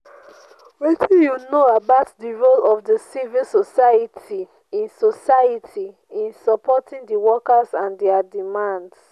wetin you know about di role of di civil society in society in supporting di workers and dia demands?